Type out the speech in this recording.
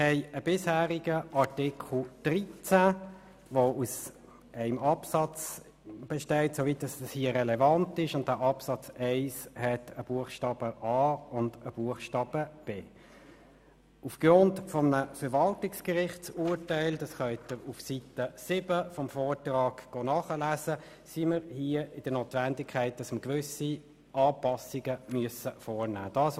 Es gibt den bisherigen Artikel 13, bestehend aus einem Absatz, und dieser besteht aus einem Buchstaben a und einem Buchstaben b. Wie Sie auf Seite 7 des Vortrages nachlesen können, befinden wir uns aufgrund eines Verwaltungsgerichtsurteils in der Notwendigkeit, gewisse Anpassungen vorzunehmen.